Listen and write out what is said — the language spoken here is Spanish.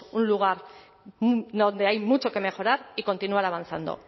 un lugar donde hay mucho que mejorar y continuar avanzando